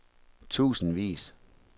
tusindvis